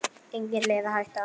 Engin leið að hætta.